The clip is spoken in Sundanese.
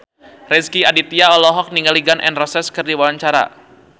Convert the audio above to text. Rezky Aditya olohok ningali Gun N Roses keur diwawancara